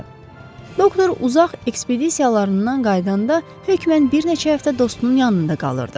Doktor uzaq ekspedisiyalarından qayıdanda hökmən bir neçə həftə dostunun yanında qalırdı.